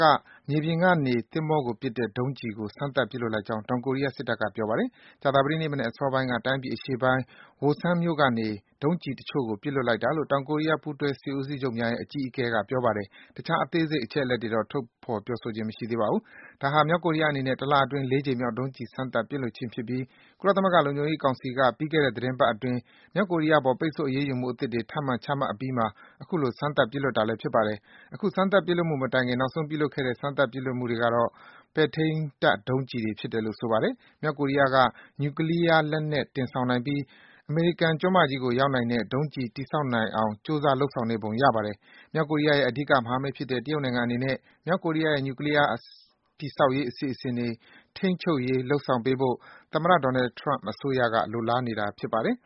က မြေပြင်ကနေ သင်္ဘောကိုပစ်တဲ့ ဒုံးကျည်ကို စမ်းသပ် ပစ်လွှတ်လိုက်ပုံရကြောင်း တောင်ကိုရီးယား စစ်တပ်က ပြောပါတယ်။ ကြာသပတေးနေ့ မနက်အစောပိုင်းက တိုင်းပြည် အရှေ့ပိုင်း Wosan မြို့ကနေ ဒုံးကျည်တချို့ကို ပစ်လွှတ်လိုက်တာလို့ တောင်ကိုရီးယား ပူးတွဲ စစ်ဦးချုပ်များရဲ့ အကြီးအကဲက ပြောပါတယ်။ တခြား အသေးစိတ် အချက်အလက်တွေတော့ ထုတ်ဖော် ပြောဆိုခြင်း မရှိပါဘူး။ ဒါဟာ မြောက်ကိုရီးယားအနေနဲ့ တလအတွင်း ၄ ကြိမ်မြောက် ဒုံးကျည် စမ်းသပ် ပစ်လွှတ်ခြင်း ဖြစ်ပြီး ကုလသမဂ္ဂ လုံခြုံရေးကောင်စီက ပြီးခဲ့တဲ့ သီတင်းပတ်အတွင်း မြောက်ကိုရီးယား အပေါ်ပိတ်ဆို့ အရေးယူမှု အသစ်တွေ ထပ်မံ ချမှတ်အပြီးမှာ အခုလို စမ်းသပ် ပစ်လွှတ်တာလည်း ဖြစ်ပါတယ်။ အခုစမ်းသပ် ပစ်လွှတ်မှု မတိုင်ခင် နောက်ဆုံး ပြုလုပ်ခဲ့တဲ့ စမ်းသပ် ပစ်လွှတ်မှုတွေကတော့ ပဲ့ထိန်းတပ် ဒုံးကျည်တွေ ဖြစ်တယ်လို့ ဆိုပါတယ်။ မြောက်ကိုရီးယားနိုင်ငံဟာ နျူကလီးယား လက်နက် တင်ဆောင်နိုင်ပြီး အမေရိကန် ကျွန်းမကြီးကို ရောက်နိုင်တဲ့ ဒုံးကျည် တည်ဆောင်နိုင်အောင် ကြိုးစား လုပ်ဆောင်နေပုံရပါတယ်။ မြောက်ကိုရီးယားရဲ့ အဓိက မဟာမိတ်ဖြစ်တဲ့ တရုတ်နိုင်ငံအနေနဲ့ မြောက်ကိုရီးယားရဲ့နျူကလီးယား တည်ဆောက်ရေး အစီအစဉ်တွေ ထိန်းချုပ်ရေး လုပ်ဆောင်ပေးဖို့ သမ္မတ Donald Trump အစိုးရက လိုလားနေတာ ဖြစ်ပါတယ်